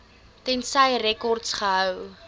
tensy rekords gehou